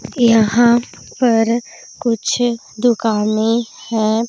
यहाँ पर कुछ दुकाने हैं।